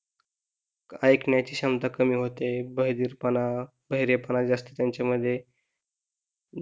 ऐकण्याची क्षमता कमी होते. बधिरपणा, बहिरेपणा जास्त त्यांच्यामध्ये,